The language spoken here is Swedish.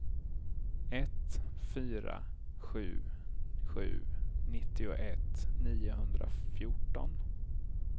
ett fyra sju sju nittioett niohundrafjorton